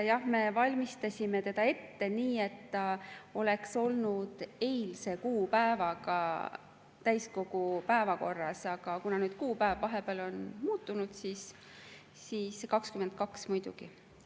Jah, me valmistasime seda ette nii, et see oleks olnud eilse kuupäevaga täiskogu päevakorras, aga kuna nüüd kuupäev vahepeal on muutunud, siis 22., muidugi.